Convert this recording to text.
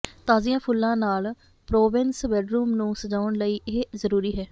ਤਾਜ਼ੀਆਂ ਫੁੱਲਾਂ ਨਾਲ ਪ੍ਰੋਵੈਂਸ ਬੈਡਰੂਮ ਨੂੰ ਸਜਾਉਣ ਲਈ ਇਹ ਜ਼ਰੂਰੀ ਹੈ